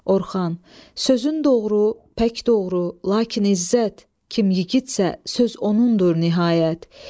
Orxan, sözün doğru, pək doğru, lakin İzzət, kim yiğidsə, söz onunndur nəhayət.